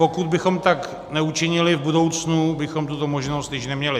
Pokud bychom tak neučinili, v budoucnu bychom tuto možnost již neměli.